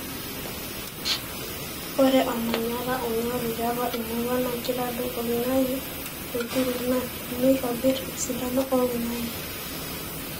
ore olmanyara onyori tiatua emurua na kitadou oloingange oituruk na neitobirr esidano oloingange .